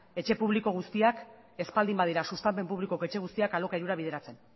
etxe publiko guztiak ez baldin badira sustapen publikoko etxe guztiak alokairura bideratzen